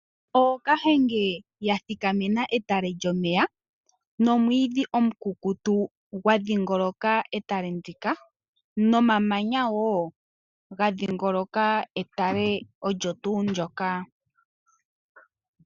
Ookahenge ya thikamena etale lyomeya nomwiidhi omukukutu gwa dhingoloka etale ndika, nomamanya wo ga dhingoloka etale olyo tuu ndoka.